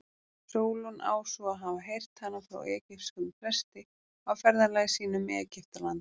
Sólon á svo að hafa heyrt hana frá egypskum presti á ferðalagi sínu um Egyptaland.